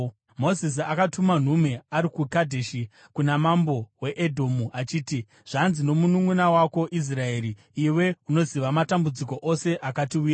Mozisi akatuma nhume ari kuKadheshi kuna mambo weEdhomu, achiti: “Zvanzi nomununʼuna wako Israeri: Iwe unoziva matambudziko ose akatiwira.